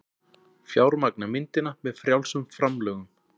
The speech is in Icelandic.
Fjármagna myndina með frjálsum framlögum